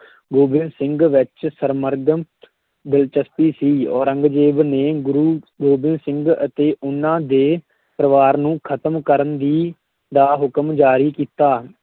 ਗੋਬਿੰਦ ਸਿੰਘ ਵਿੱਚ ਦਿਲਚਸਪੀ ਸੀ, ਔਰੰਗਜ਼ੇਬ ਨੇ ਗੁਰੂ ਗੋਬਿੰਦ ਸਿੰਘ ਅਤੇ ਉਨ੍ਹਾਂ ਦੇ ਪਰਿਵਾਰ ਨੂੰ ਖਤਮ ਕਰਨ ਦੀ ਦਾ ਹੁਕਮ ਜਾਰੀ ਕੀਤਾ।